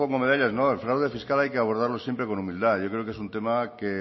medallas el fraude fiscal hay que abordarlo siempre con humildad yo creo que es un tema que